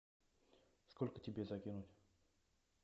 сколько тебе закинуть